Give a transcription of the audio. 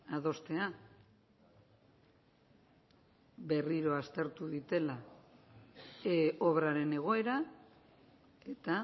adostea berriro aztertu daitela obraren egoera eta